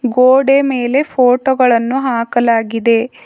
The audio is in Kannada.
ಗೋಡೆ ಮೇಲೆ ಫೋಟೋ ಗಳನ್ನು ಹಾಕಲಾಗಿದೆ.